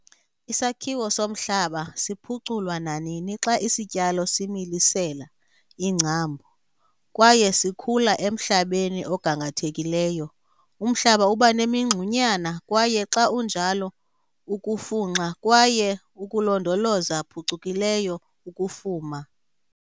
Isakhiwo somhlaba siphuculwa nanini xa isityalo similisela iingcambu kwaye sikhula emhlabeni ogangathekileyo. Umhlaba uba nemingxunyana kwaye xa unjalo ukufunxa kwaye ukulondoloza phucukileyo ukufuma.